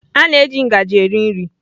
A na-eji ngaji eri nri.